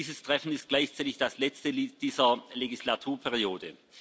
Dieses Treffen ist gleichzeitig das letzte dieser Legislaturperiode.